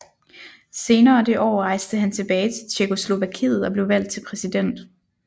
Senere det år rejste han tilbage til Tjekkoslovakiet og blev valgt til præsident